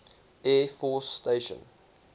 air force station